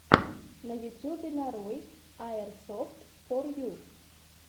на ютьюбе нарой аирсофтфорю